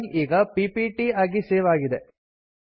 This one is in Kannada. ಫೈಲ್ ಈಗ ಪಿಪಿಟಿ ಆಗಿ ಸೇವ್ ಆಗಿದೆ